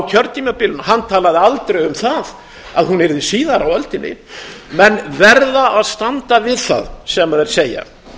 kjörtímabilinu og hann talaði aldrei um það að hún yrði síðar á öldinni menn verða að standa við það sem þeir segja